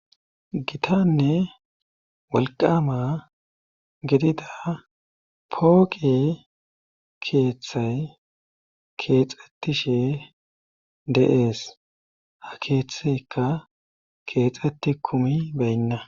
gitanne wolqama gedida pooqe keeththay keexettishe de7ees ha keeththeka keexetti kumi beynna